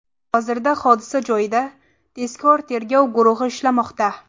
Hozirda hodisa joyida tezkor-tergov guruhi ishlamoqda.